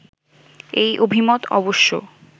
এই অভিমত অবশ্য